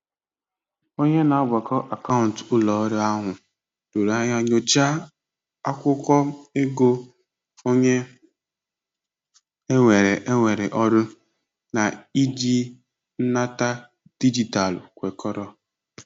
Onye na-agbakọ akaụntụ ụlọ ọrụ ahụ doro anya nyochaa akụkọ ego onye ewere ewere ọrụ na-iji nnata dijitalụ kwekọrọ.